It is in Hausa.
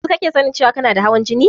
Yanzu kake sanin cewan kana da hawan jini?